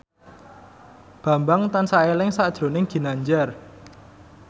Bambang tansah eling sakjroning Ginanjar